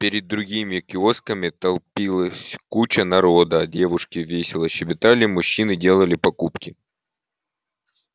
перед другими киосками толпилась куча народа девушки весело щебетали мужчины делали покупки